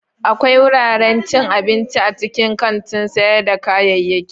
Akwai wuraren cin abinci a cikin kantin sayar da kayayyaki.